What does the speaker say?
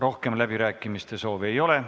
Rohkem läbirääkimiste soovi ei ole.